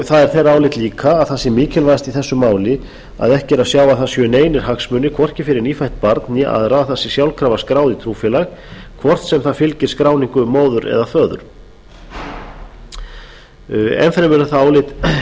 það er þeirra álit líka að það sé mikilvægt í þessu máli að ekki er að sjá að það séu neinir hagsmunir hvorki fyrir nýfætt barn né aðra að það sé sjálfkrafa skráð í trúfélag hvort sem það fylgir skráningu móður eða föður enn fremur er það álit